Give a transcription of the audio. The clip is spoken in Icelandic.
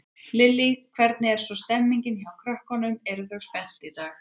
Lillý: Hvernig er svo stemmingin hjá krökkunum, eru þau spennt í dag?